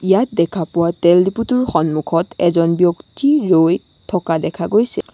ইয়াত দেখা পোৱা তেল ডিপো টোৰ সন্মুখত এখন ব্যক্তি ৰৈ থকা দেখা গৈছে।